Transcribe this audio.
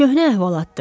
Köhnə əhvalatdır.